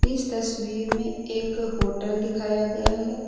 इस तस्वीर में एक होटल दिखाया गया है।